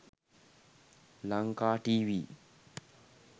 lanka tv